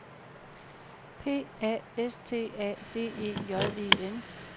P A S T A D E J E N